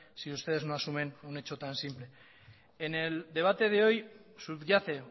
si ustedes no asumen un hecho tan simple en el debate de hoy subyace